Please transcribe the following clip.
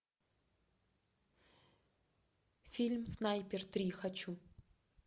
фильм снайпер три хочу